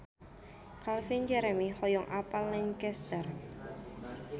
Calvin Jeremy hoyong apal Lancaster